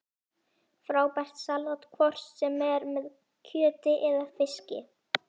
Frábært salat hvort sem er með kjöti eða fiski